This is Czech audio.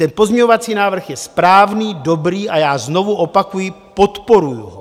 Ten pozměňovací návrh je správný, dobrý a já znovu opakuji, podporuji ho.